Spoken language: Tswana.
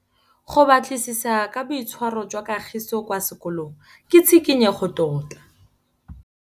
Go batlisisa ka boitshwaro jwa Kagiso kwa sekolong ke tshikinyêgô tota.